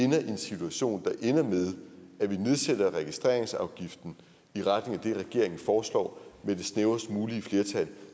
en situation der ender med at vi nedsætter registreringsafgiften i retning af det regeringen foreslår med det snævrest mulige flertal